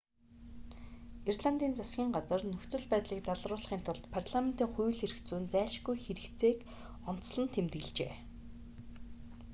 ирландын засгийн газар нөхцөл байдлыг залруулахын тулд парламентын хууль эрх зүйн зайлшгүй хэрэгцээг онцлон тэмдэглэжээ